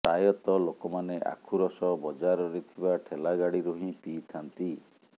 ପ୍ରାୟତଃ ଲୋକମାନେ ଆଖୁ ରସ ବଜାରରେ ଥିବା ଠେଲା ଗାଡ଼ିରୁ ହିଁ ପିଇଥାନ୍ତି